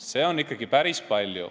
Seda on ikkagi päris palju.